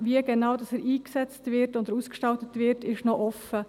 Wie er genau eingesetzt oder ausgestaltet wird, ist noch offen.